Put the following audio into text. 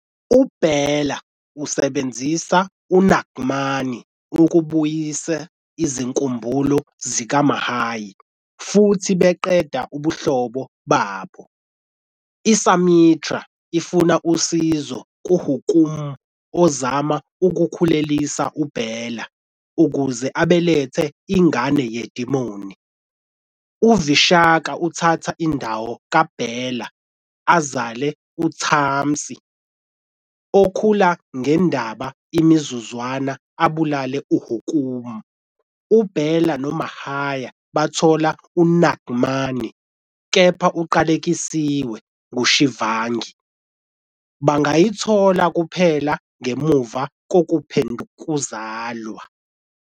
UBela usebenzisa "uNaagmani" ukubuyisa izinkumbulo zikaMahir futhi baqeda ubuhlobo babo. ISumitra ifuna usizo kuHukkum ozama ukukhulelisa uBela ukuze abelethe ingane yedimoni. UVishaka uthatha indawo kaBela azale uTaamsi, okhula ngendaba imizuzwana abulale uHukkum. UBela noMahir bathola "uNaagmani" kepha uqalekisiwe nguShivangi. Bangayithola kuphela ngemuva kokuphindukuzalwa.